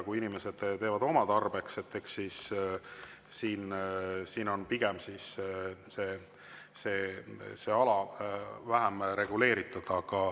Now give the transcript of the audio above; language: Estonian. Kui inimesed teevad seda oma tarbeks, siis see ala on pigem vähem reguleeritud.